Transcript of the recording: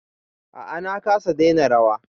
A'a na kasa daina rawa